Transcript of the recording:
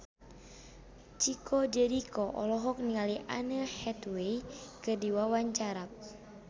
Chico Jericho olohok ningali Anne Hathaway keur diwawancara